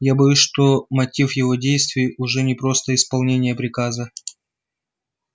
я боюсь что мотив его действий уже не просто исполнение приказа